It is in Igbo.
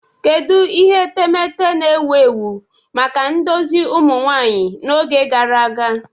Kedu ihe etemeete na-ewu ewu maka ndozi ụmụ nwanyị n'oge gara aga?